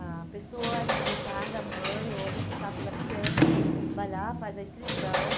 A pessoa interessada, mãe ou responsável pela criança, vai lá, faz a inscrição.